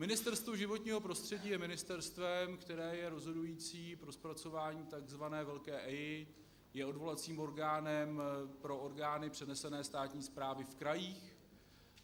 Ministerstvo životního prostředí je ministerstvem, které je rozhodující pro zpracování tzv. velké EIA, je odvolacím orgánem pro orgány přenesené státní správy v krajích.